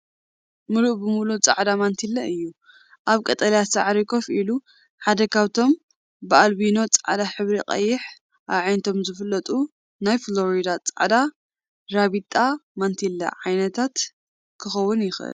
ምሉእ ብምሉእ ጻዕዳ ማንቲለ እዩ፣ ኣብ ቀጠልያ ሳዕሪ ኮፍ ኢሉ። ሓደ ካብቶም ብኣልቢኖ ጻዕዳ ሕብሪን ቀይሕ ኣዒንቶምን ዝፍለጡ ናይ ፍሎሪዳ ጻዕዳ ራቢጣ/ማንቲለ ዓነታት ክኸውን ይኽእል።